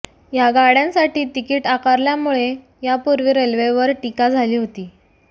या गाड्यांसाठी तिकीट आकारल्यामुळे यापूर्वी रेल्वेवर टीका झाली होती